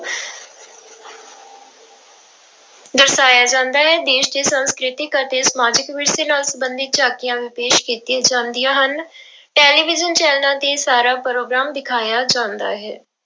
ਦਰਸਾਇਆ ਜਾਂਦਾ ਹੈ ਦੇਸ ਦੇ ਸੰਸਕ੍ਰਿਤਿਕ ਅਤੇ ਸਮਾਜਿਕ ਵਿਰਸੇ ਨਾਲ ਸੰਬੰਧਿਤ ਝਾਕੀਆਂ ਵੀ ਪੇਸ ਕੀਤੀਆਂ ਜਾਂਦੀਆਂ ਹਨ ਟੈਲੀਵਿਜ਼ਨ ਚੈਨਲਾਂ ਤੇ ਸਾਰਾ ਪ੍ਰੋਗਰਾਮ ਦਿਖਾਇਆ ਜਾਂਦਾ ਹੈ।